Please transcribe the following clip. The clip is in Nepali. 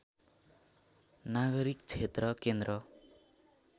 नागरीक क्षेत्र केन्द्र